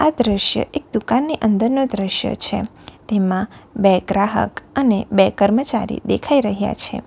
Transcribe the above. આ દ્રશ્ય એક દુકાનની અંદરનો દ્રશ્ય છે તેમાં બે ગ્રાહક અને બે કર્મચારી દેખાઈ રહ્યા છે.